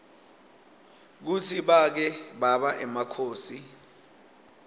kutsi bake baba emakhosi